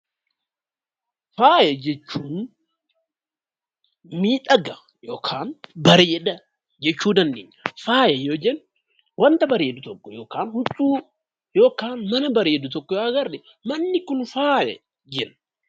Faaya jechuun miidhaga (bareeda) jechuu dandeenya. Faaya yoo jennu wanta bareedu tokko yookaan huccuu yookaan mana bareedu tokko yoo agarre manni kun faaya jenna.